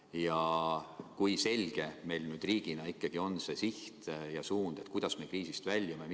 Ja kui selge meil riigina on see siht ja suund, kuidas me kriisist väljume?